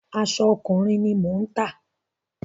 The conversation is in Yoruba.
Aṣọ ọkùnrin ni mò ń tà.